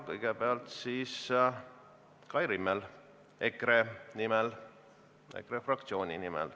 Kõigepealt saab sõna Kai Rimmel EKRE fraktsiooni nimel.